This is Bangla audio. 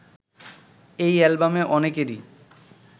এ অ্যালবামে অনেকেরই